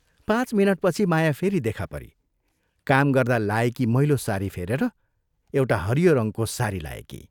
पाँच मिनटपछि माया फेरि देखा परी काम गर्दा लाएकी मैलो सारी फेरेर एउटा हरियो रङ्गको सारी लाएकी।